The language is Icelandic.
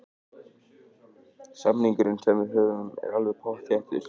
Samningurinn sem við höfum er alveg pottþéttur.